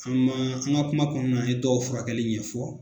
An maa an ŋa kuma kɔɔna an ye dɔw furakɛli ɲɛfɔ